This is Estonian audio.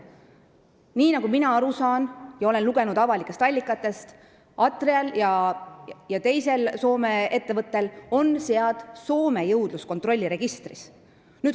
Nii nagu mina aru olen saanud ja olen avalikest allikatest lugenud, on Atrial ja teisel Soome ettevõttel sead registreeritud Soome jõudluskontrolliregistris.